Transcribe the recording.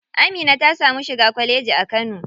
Amina ta samu shiga kwalleji a kano.